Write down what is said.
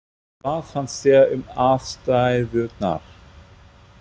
Hvað fannst þér um aðstæðurnar?